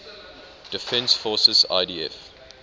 defense forces idf